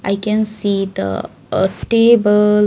I can see the a table.